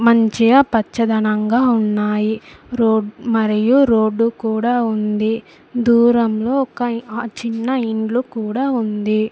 మంచిగా పచ్చదనంగా ఉన్నాయి రోడ్ మరియు రోడ్డు కూడా ఉంది దూరంలో ఒక అ చిన్న ఇండ్లు కూడా ఉంది.